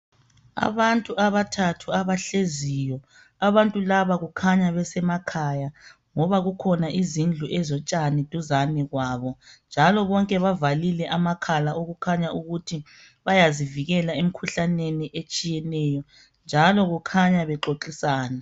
Abantu abathathu abahleziyo, ababtu laba kukhanya besemakhaya ngoba kukhona izindlu ezotshani duzane kwabo njalo bonke bavalile amakhala okukhanya ukuthi bayazivikela emikhuhlaneni etshiyeneyo njalo kukhanya bexoxisana.